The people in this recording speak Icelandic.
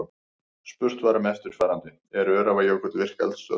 Spurt var um eftirfarandi: Er Öræfajökull virk eldstöð?